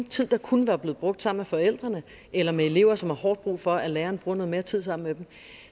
tid der kunne være blevet brugt sammen med forældrene eller med elever som har hårdt brug for at læreren bruger noget mere tid sammen med dem